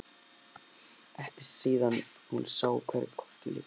Ekki síðan hún sá hverju krotið líktist.